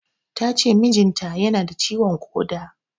Tace mijin ta yana da ciwon ƙoda